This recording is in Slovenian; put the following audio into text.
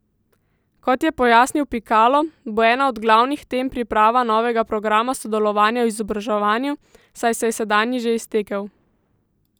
Kot je pojasnil Pikalo, bo ena od glavnih tem priprava novega programa sodelovanja v izobraževanju, saj se je sedanji že iztekel.